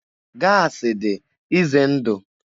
Gaasị dị ize ndụ.